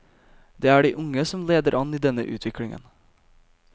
Det er de unge som leder an i denne utviklingen.